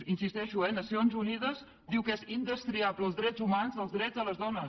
hi insisteixo eh nacions unides diu que són indestriables els drets humans dels drets de les dones